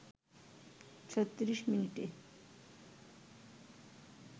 ৩৬ মিনিটে